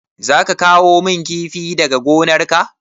Za ka kawo min kifi daga gonar ka?